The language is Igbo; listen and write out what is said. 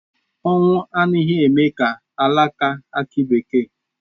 Ọnwụ anaghị eme ka alaka akị bekee